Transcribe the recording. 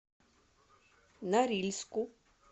норильску